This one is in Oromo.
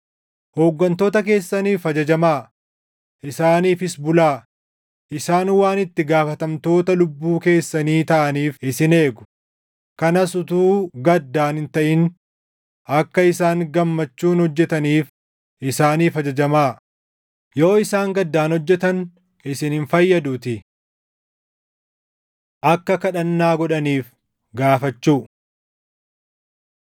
Hooggantoota keessaniif ajajamaa; isaaniifis bulaa. Isaan waan itti gaafatamtoota lubbuu keessanii taʼaniif isin eegu; kanas utuu gaddaan hin taʼin akka isaan gammachuun hojjetaniif isaaniif ajajamaa; yoo isaan gaddaan hojjetan isin hin fayyaduutii. Akka Kadhannaa Godhaniif Gaafachuu